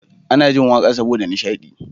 Ana jin waƙa saboda nishadi